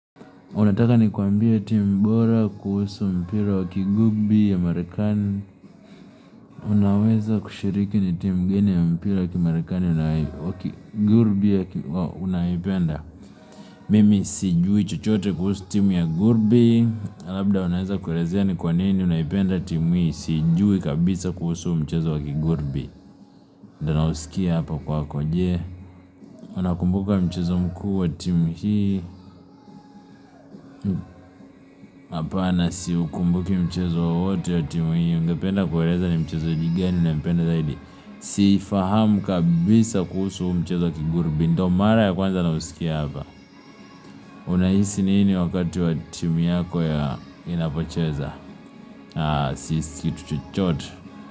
Unataka nikuambie timu bora kuhusu mpira wa kigurbi ya marikani. Unaweza kushiriki ni timu geni ya mpila wa kimarekani wakigurbi ya unayoipenda Mimi sijui chochote kuhusu timu ya gurbi Labda unaweza kurezea ni kwa nini unayipenda timu hii Sijui kabisa kuhusu mchezo wakigurbi ndo nausikia hapa kwako je Unakumbuka mchezo mkuu wa timu hii Hapana siukumbuki mchezo wowote ya timu hii Unapenda kurezea ni mchezaji gani unayipenda zaidi Sifahamu kabisa kuhusu mchezo wa kigurubi ndo mara ya kwanza na usikia hapa Unaisi nini wakati wa timu yako ya inapocheza sisi kitu chuchote.